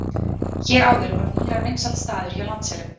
Hér áður voru Mýrar vinsæll staður hjá landselum.